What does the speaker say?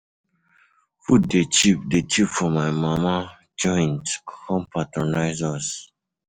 Food dey cheap dey cheap for my mama joint, come patronize us.